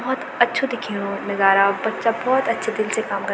बहुत अच्छु दिख्येणु नजारा बच्चा बहौत अच्छे दिल से काम क --